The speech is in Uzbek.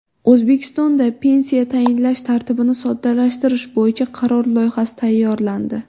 O‘zbekistonda pensiya tayinlash tartibini soddalashtirish bo‘yicha qaror loyihasi tayyorlandi.